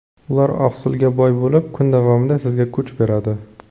Ular oqsilga boy bo‘lib, kun davomida sizga kuch beradi.